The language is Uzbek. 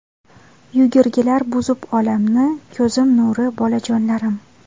Yugurgilar buzib olamni, Ko‘zim nuri bolajonlarim.